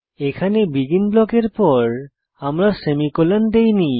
এখানে বেগিন ব্লকের পর আমরা সেমিকোলন দেইনি